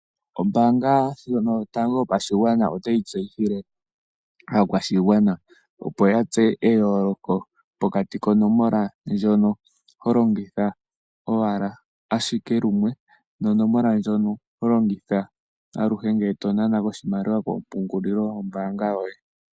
Ombaanga ndjono yotango yopashigwana otayi tseyithile aakwashigwana opo yatseye eyooloko pokati konomola ndjono holongitha ashike lumwe, nonomola ndjono holongitha aluhe ngele tonana ko oshimaliwa kopungulilo yombaanga yoye.